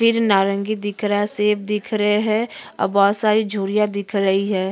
फिर नारंगी दिख रहा है। सेब दिख रहे हैं। और बोहोत सारी झूरिया दिख रही है।